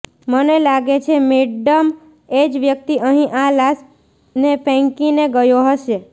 મને લાગે છે મેડમ એજ વ્યક્તિ અહીં આ લાશ ને ફેંકીને ગયો હશે